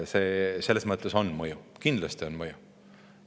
Selles mõttes on mõju, kindlasti on mõju.